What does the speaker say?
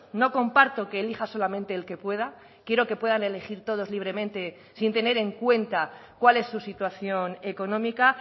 no comparto que elija solamente el que pueda quiero que puedan elegir todos libremente sin tener en cuenta cuál es su situación económica